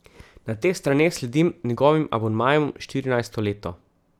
Na teh straneh sledim njegovim abonmajem štirinajsto leto.